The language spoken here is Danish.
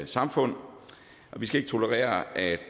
samfund og vi skal ikke tolerere at